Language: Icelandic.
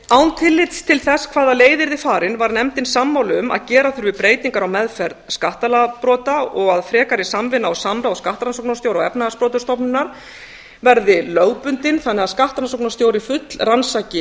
án tillits til þess hvaða leið yrði farin var nefndin sammála um að gera þurfi breytingar á meðferð skattalagabrota og að frekari samvinna og samráð skattrannsóknarstjóra og efnahagsbrotastofnunar verði lögbundin þannig að skattrannsóknarstjóri fullrannsaki